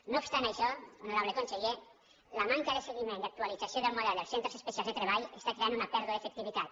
no obs·tant això honorable conseller la manca de seguiment i actualització del model dels centres especials de tre·ball està creant una pèrdua d’efectivitat